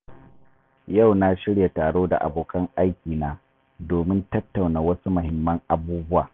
Yau na shirya taro da abokan aikina domin tattauna wasu mahimman abubuwa.